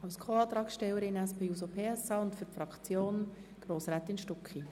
Als Co-Antragstellerin und für die die SPJUSO-PSA-Fraktion spricht Grossrätin Stucki.